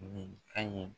Nin an ye